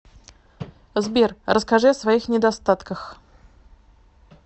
сбер расскажи о своих недостатках